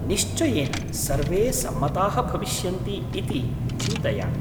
निश्चयेन सर्वे सम्मताः भविष्यन्ति इति चिन्तयामि।